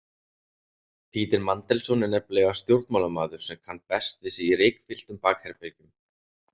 Peter Mandelson er nefnilega stjórnmálamaður sem kann best við sig í reykfylltum bakherbergjum.